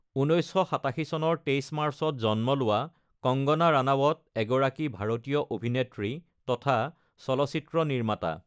১৯৮৭ চনৰ ২৩ মাৰ্চত জন্ম লোৱা কঙ্গনা ৰাণাৱত এগৰাকী ভাৰতীয় অভিনেত্ৰী তথা চলচ্চিত্ৰ নিৰ্মাতা।